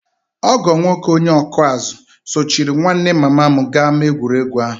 Ọgọ nwoke onye ọkụ azụ̀ sochiri nwanne mama m gaa ámá egwuregwu ahụ